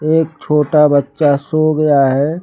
एक छोटा बच्चा सो गया है।